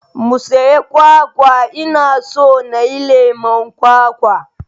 Mu siyi kwakwa, ina so nayi lemon kwakwa